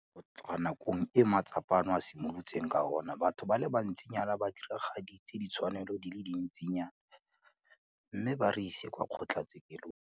Go tloga nakong e matsapa ano a simolotseng ka ona, batho ba le bantsinyana ba diragaditse ditshwanelo di le dintsinyana mme ba re isa kwa kgotlatshekelo.